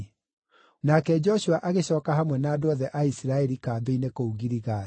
Nake Joshua agĩcooka hamwe na andũ othe a Isiraeli kambĩ-inĩ kũu Giligali.